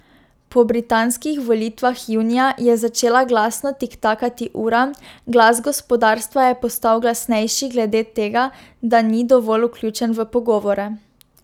Po britanskih volitvah junija je začela glasno tiktakati ura, glas gospodarstva je postal glasnejši glede tega, da ni dovolj vključen v pogovore.